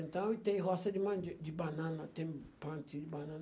Então, e tem roça de mandi de banana, tem plantio de banana.